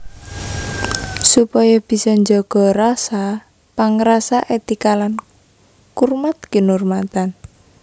Supaya bisa njaga rasa pangrasa etika lan kurmat kinurmatan